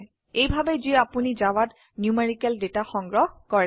এইভাবে যি আপোনি জাভাত ন্যূমেৰিকেল ডেটা সংগ্ৰহ কৰে